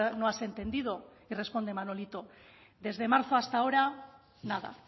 no has entendido y responde manolito desde marzo hasta ahora nada